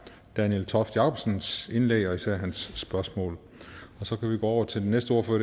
daniel toft jakobsens indlæg og især af hans spørgsmål så kan vi gå over til den næste ordfører